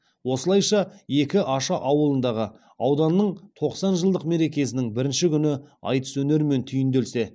осылайша екі аша ауылындағы ауданның тоқсан жылдық мерекесінің бірінші күні айтыс өнерімен түйінделсе